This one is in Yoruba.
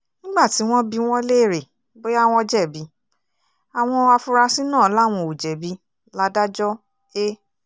nígbà tí wọ́n bi wọ́n léèrè bóyá wọ́n jẹ̀bi àwọn afurasí náà làwọn ò jẹ̀bi ladájọ́ a